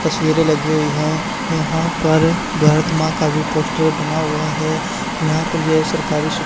तस्वीरें लगी हुई है यहां पर भारत मां का भी पोस्टर बना हुआ है यहां पर यह सरकारी सु--